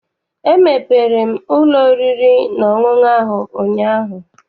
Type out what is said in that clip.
Emepere m ụlọ oriri na ọṅụṅụ ahụ ụnyaahụ.